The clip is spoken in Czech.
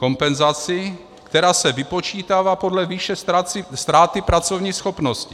Kompenzaci, která se vypočítává podle výše ztráty pracovní schopnosti.